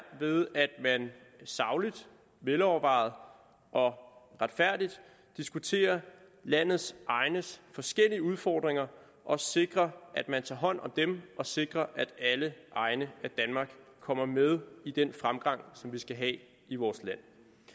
ved at man sagligt velovervejet og retfærdigt diskuterer landets egnes forskellige udfordringer og sikrer at man tager hånd om dem og sikrer at alle egne af danmark kommer med i den fremgang som vi skal have i vores land